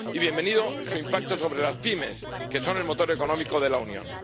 Y bienvenido su impacto sobre las pymes, que son el motor económico de la Unión.